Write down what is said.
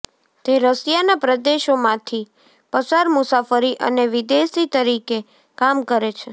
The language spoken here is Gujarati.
તે રશિયાના પ્રદેશોમાંથી પસાર મુસાફરી અને વિદેશી તરીકે કામ કરે છે